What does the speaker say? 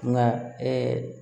Nka